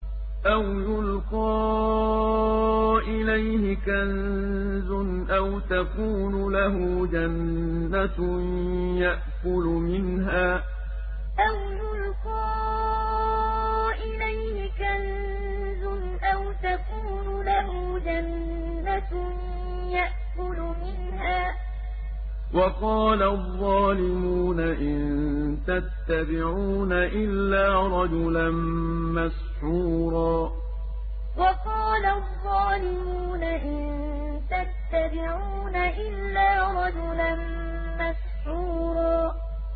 أَوْ يُلْقَىٰ إِلَيْهِ كَنزٌ أَوْ تَكُونُ لَهُ جَنَّةٌ يَأْكُلُ مِنْهَا ۚ وَقَالَ الظَّالِمُونَ إِن تَتَّبِعُونَ إِلَّا رَجُلًا مَّسْحُورًا أَوْ يُلْقَىٰ إِلَيْهِ كَنزٌ أَوْ تَكُونُ لَهُ جَنَّةٌ يَأْكُلُ مِنْهَا ۚ وَقَالَ الظَّالِمُونَ إِن تَتَّبِعُونَ إِلَّا رَجُلًا مَّسْحُورًا